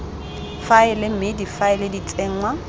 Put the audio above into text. faela mme difaele di tsenngwa